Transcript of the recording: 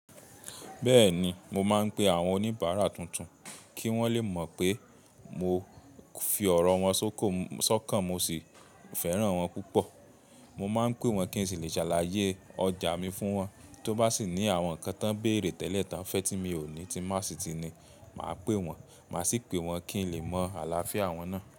Bẹ́ẹ̀ni, mo máa ń pe àwọn oníbàárà tuntun kí wọ́n le mọ̀ pé mo fi ọ̀rọ̀ wọn sókàn, mo sì fẹ́ràn wọ́n púpọ̀. Mo máa ń pè wọ́n kí n sì lè ṣàlàyé ọjà mi fún wọn. Tí ó bá sì ní àwọn ǹkan tán bèrè tẹ́lẹ̀ tí wọ́n fẹ́ tí mi ò ní tí má sì ti ní, màá pè wọ́n. Màá sì pè wọ́n kí n lè mọ àlàáfíà wọn náà.